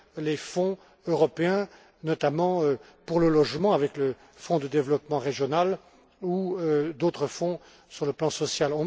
les Fonds européens, notamment pour le logement avec le Fonds de développement régional ou d'autres fonds sur le plan social.